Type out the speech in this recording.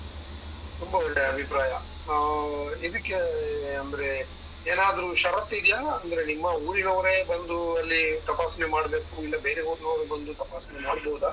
ತುಂಬಾ ಒಳ್ಳೆ ಅಭಿಪ್ರಾಯ. ಹಾ ಇದಿಕ್ಕೆ ಅಂದ್ರೆ ಏನಾದ್ರು ಷರತ್ತು ಇದ್ಯ? ಅಂದ್ರೆ ನಿಮ್ಮ ಊರಿನವರೇ ಬಂದು ಅಲ್ಲಿ ತಪಾಸಣೆ ಮಾಡ್ಬೇಕು, ಇಲ್ಲ ಬೇರೆ ಊರಿನವರು ಬಂದು ತಪಾಸಣೆ ಮಾಡ್ಬೋದಾ?